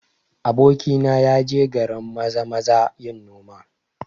Abokina ya je garin Maza-maza yin noma